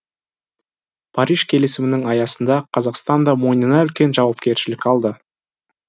париж келісімінің аясында қазақстан да мойнына үлкен жауапкершілік алды